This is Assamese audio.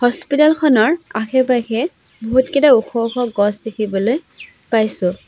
হস্পিটেল খনৰ আশে পাশে বহুতকেইটা ওখ ওখ গছ দেখিবলৈ পাইছোঁ।